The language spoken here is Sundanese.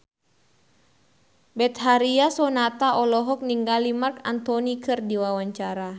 Betharia Sonata olohok ningali Marc Anthony keur diwawancara